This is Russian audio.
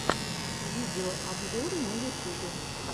видеообзоры на ютубе